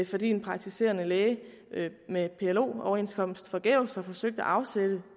fordi en praktiserende læge med plo overenskomst forgæves har forsøgt at afsætte